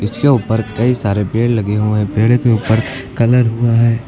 इसके ऊपर कई सारे पेड़ लगे हुए हैं पेड़ के ऊपर कलर हुआ है।